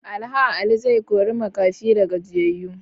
Alh Ali zai kori makafi da gajiyayu.